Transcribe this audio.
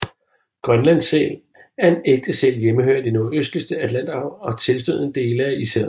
Grønlandssæl er en ægte sæl hjemmehørende i det nordligste Atlanterhav og tilstødende dele af Ishavet